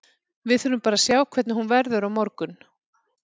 Við þurfum bara að sjá hvernig hún verður á morgun.